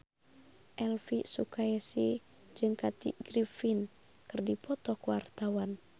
Elvi Sukaesih jeung Kathy Griffin keur dipoto ku wartawan